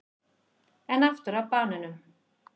En aftur að banönum.